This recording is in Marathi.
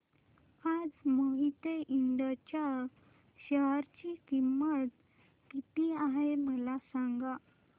आज मोहिते इंड च्या शेअर ची किंमत किती आहे मला सांगा